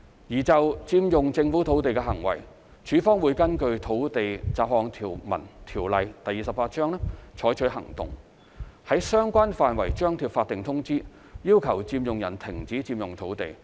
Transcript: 而就佔用政府土地的行為，署方會根據《土地條例》採取行動，於相關範圍張貼法定通知，要求佔用人停止佔用土地。